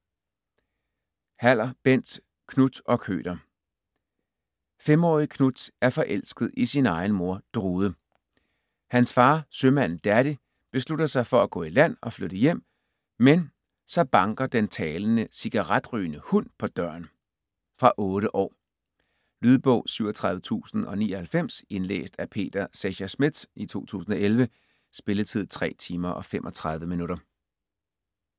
Haller, Bent: Knut og køter 5-årige Knut er forelsket i sin egen mor Drude. Hans far sømanden Daddy beslutter sig for at gå i land og flytte hjem, men så banker den talende cigaretrygende hund på døren. Fra 8 år. Lydbog 37099 Indlæst af Peter Secher Schmidt, 2011. Spilletid: 3 timer, 35 minutter.